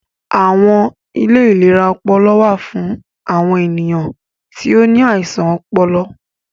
Awọn ilé ìlera ọpọlọ wà fún awọn ènìyàn tí o ní àisàn ọpọlọ